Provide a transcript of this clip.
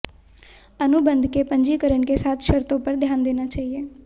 अनुबंध के पंजीकरण के साथ शर्तों पर ध्यान देना चाहिए